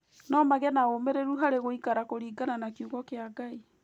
No magĩe na ũũmĩrĩru harĩ gũikara kũringana na Kiugo kĩa Ngai.